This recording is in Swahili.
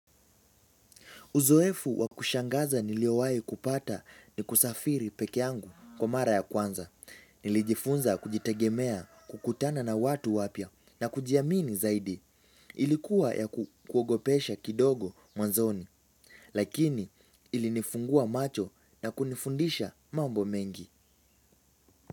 Uzoefu wa kushangaza niliowahi kupata ni kusafiri peke yangu kwa mara ya kwanza. Nilijifunza kujitegemea kukutana na watu wapya na kujiamini zaidi. Ilikuwa ya kukuogopesha kidogo mwanzoni. Lakini ilinifungua macho na kunifundisha mambo mengi.